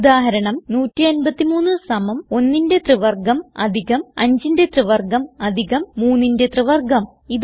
ഉദാഹരണം 153 സമം 1ന്റെ ത്രിവർഗം അധികം 5ന്റെ ത്രിവർഗം അധികം 3ന്റെ ത്രിവർഗം